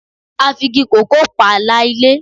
A fi igi kòkó pààlà ilé